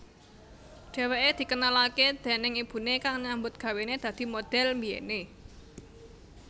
Dheweké dikenalaké déning ibuné kang nyambut gawené dadi modhel mbiyené